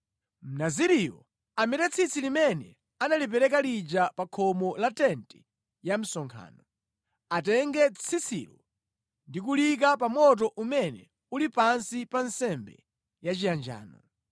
“Mnaziriyo amete tsitsi limene analipereka lija pa khomo la tenti ya msonkhano. Atenge tsitsilo ndi kuliyika pa moto umene uli pansi pa nsembe yachiyanjano.